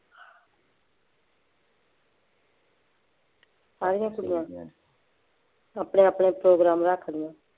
ਸਾਰੀਆਂ ਕੁੜੀਆਂ ਦੀ ਆਪਣੇ ਆਪਣੇ ਪ੍ਰੋਗਰਾਮ ਰੱਖਦੀਆਂ